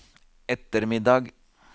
ettermiddag